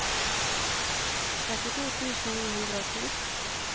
trettito tusen ni hundre og ti